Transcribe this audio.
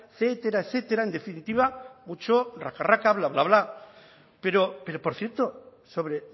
etcétera etcétera en definitiva mucho bla bla bla pero por cierto sobre